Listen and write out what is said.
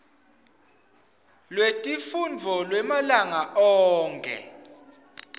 lwetifundvo lwemalanga onkhe